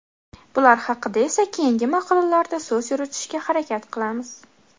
Bular haqida esa keyingi maqolalarda so‘z yuritishga harakat qilamiz.